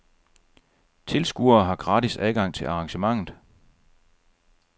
Tilskuere har gratis adgang til arrangementet.